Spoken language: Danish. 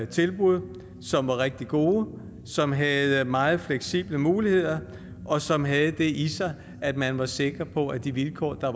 tilbud som var rigtig gode som havde meget fleksible muligheder og som havde det i sig at man var sikker på at de vilkår der